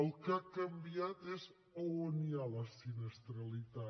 el que ha canviat és a on hi ha la sinistralitat